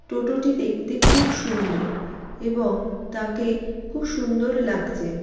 টোটোটি দেখতে খুব সুন্দর এবং তাকে খুব সুন্দর লাগছে।